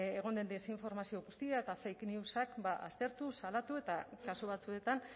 egon den desinformazio guztia eta fake newsak aztertu salatu eta kasu batzuetan